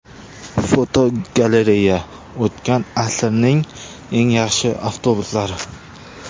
Fotogalereya: O‘tgan asrning eng yaxshi avtobuslari.